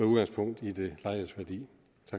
udgangspunkt i det lejedes værdi